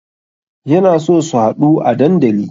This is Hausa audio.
Yana so su haɗu a dandali